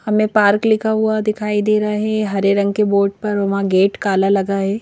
हमें पार्क लिखा हुआ दिखाई दे रहा है हरे रंग के बोर्ड पर और वहां गेट काला लगा है।